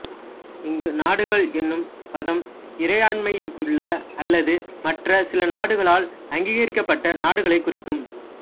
இங்கு நாடுகள் என்னும் பதம் இறையாண்மையுள்ள அல்லது மற்ற சில நாடுகளால் அங்கீகரிக்கப்பட்ட நாடுகளைக் குறிக்கும்